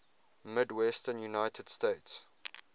midwestern united states